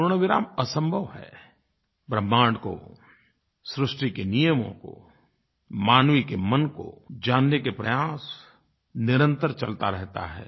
पूर्णविराम असंभव है ब्रह्मांड को सृष्टि के नियमों को मानव के मन को जानने का प्रयास निरंतर चलता रहता है